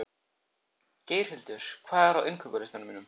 Geirhildur, hvað er á innkaupalistanum mínum?